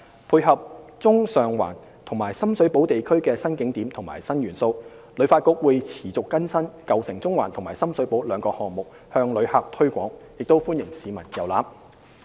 配合中上環及深水埗地區的新景點及新元素，旅發局會持續更新"舊城中環"及"深水埗"兩個項目，向旅客推廣，亦歡迎市民遊覽。